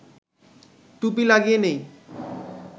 টুপি লাগিয়ে নেই